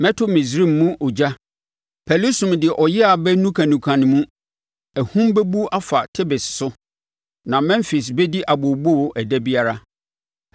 Mɛto Misraim mu ogya; Pɛlusum de ɔyea bɛnukanuka ne mu. Ahum bɛbu afa Tebes so; na Memfis bɛdi abooboo ɛda biara.